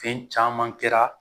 Fɛn caman kɛra